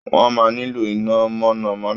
Wọ́n máa nílò iná mọ̀nà-mọ́ná